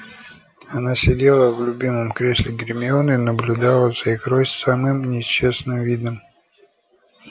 она сидела в любимом кресле гермионы и наблюдала за игрой с самым несчастным видом